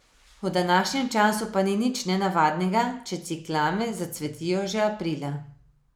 V današnjem času pa ni nič nenavadnega, če ciklame zacvetijo že aprila.